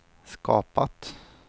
skapat